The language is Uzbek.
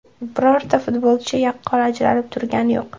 Birorta futbolchi yaqqol ajralib turgani yo‘q.